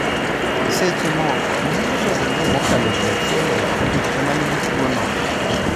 Seche moko, nyalo bedo ni mokalo ji achiel e ot ema nigi tuwono.